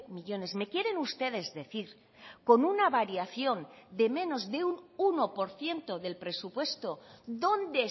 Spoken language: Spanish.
millónes me quieren ustedes decir con una variación de menos de un uno por ciento del presupuesto dónde